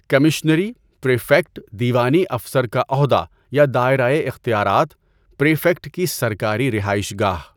کمشنری، prefect دیوانی افسر کا عہدہ یا دائرۂ اختیارات، پریفیکٹ کی سرکاری رہائش گاہ